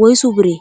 woysu biree?